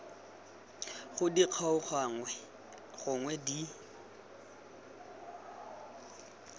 gona di kgaoganngwe gonwe di